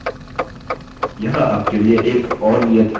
यहाँ आपके लिए एक और नियत कार्य है: